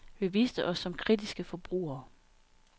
Vi viste os som kritiske forbrugere.